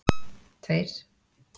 tveir